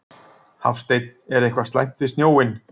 Hafsteinn: Er eitthvað slæmt við snjóinn?